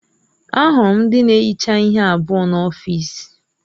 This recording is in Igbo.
Ahụrụ m ndị na-ehicha ihe abụọ n'ọfịs.